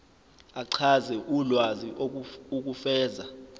achaze ulwazi ukufeza